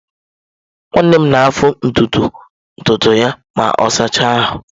Nwanne m na-afụ ntutu ya ma ọ sachaa ahụ.